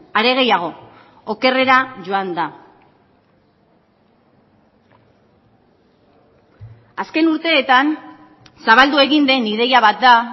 are gehiago okerrera joan da azken urteetan zabaldu egin den ideia bat da